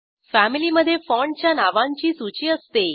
family मधे फाँटच्या नावांची सूची असते